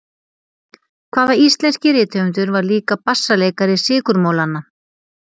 Hvaða íslenski rithöfundur var líka bassaleikari Sykurmolanna?